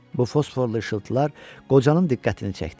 Bu fosforlu işıltılar qocanın diqqətini çəkdi.